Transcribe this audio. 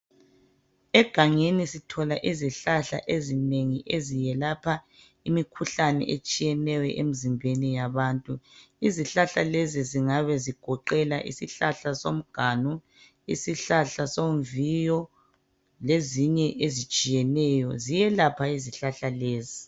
Egangeni sithola izihlahla ezinengi eziyelapha imikhuhlane etshiyeneyo emzimbeni yabantu. Izihlahla lezi zingabe zigoqela isihlahla somganu, isihlahla somviyo, lezinye ezitshiyeneyo. Ziyelapha izihlahla lezi.